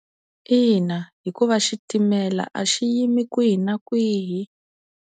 Ina hikuva xitimela a xi yimi kwihi na kwihi.